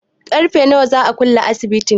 Ƙarfe nawa za a kulle asibitin?